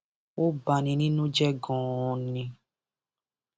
ó bá ní nínú jẹ ganan ni